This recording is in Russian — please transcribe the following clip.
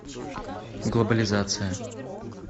глобализация